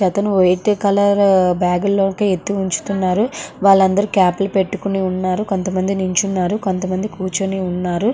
ఒకతను white colour bag లు లోకే ఎత్తి ఉంచుతున్నారు. వారందరూ క్యాప్ లు పెట్టుకొని ఉన్నారు. కొంతమంది నిల్చున్నారు కొంతమంది కూర్చుని ఉన్నారు.